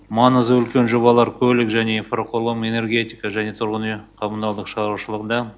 маңызы үлкен жобалар көлік және инфрақұрылым энергетика және тұрғын үй коммуналдық шаруашылығында